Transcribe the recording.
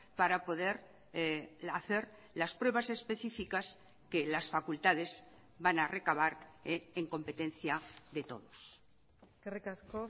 para poder hacer las pruebas específicas que las facultades van a recabar en competencia de todos eskerrik asko